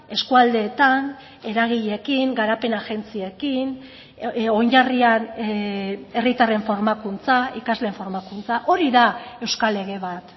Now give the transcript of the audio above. eskualdeetan eragileekin garapen agentziekin oinarrian herritarren formakuntza ikasleen formakuntza hori da euskal lege bat